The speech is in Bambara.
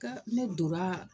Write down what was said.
Ka ne donra